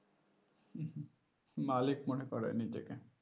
হম হম মালিক মনে করে নিজেকে